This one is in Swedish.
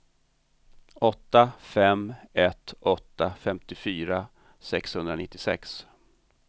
åtta fem ett åtta femtiofyra sexhundranittiosex